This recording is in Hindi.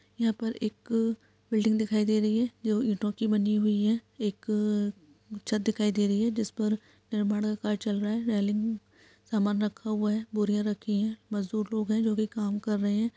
यहाँ पर एक बिल्डिंग दिखाई दे रही है जो ईटो की बनी हुई है। एक छत दिखाई दे रही है जिसपर निर्माण का कार्य चल रहा है। रेलिंग सामान रखा हुआ है। बोरिया रखी हैं। मजदुर लोग हैं जो की काम कर रहे हैं।